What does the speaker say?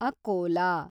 Akola